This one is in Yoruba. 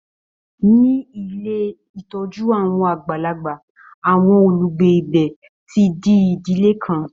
Ní ilé ìtọ́jú àwọn àgbàlagbà, àwọn olùgbé ibẹ̀ ti di ìdílé kan.